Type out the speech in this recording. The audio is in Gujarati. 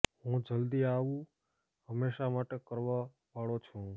હું જલ્દી આવું હંમેશાં માટે કરવા વાળો છું